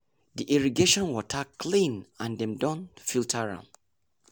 the irrigation water clean and dem don filter am.